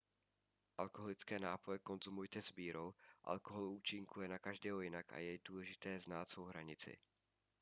alkoholické nápoje konzumujte s mírou alkohol účinkuje na každého jinak a je důležité znát svou hranici